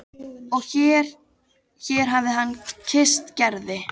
Og hér hér hafði hann kysst Gerði.